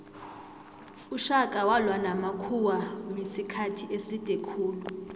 ushaka walwa namakhuwamisikhathi eside khulu